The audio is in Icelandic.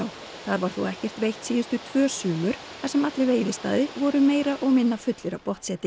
þar var þó ekkert veitt síðustu tvö sumur þar sem allir veiðistaðir voru meira og minna fullir af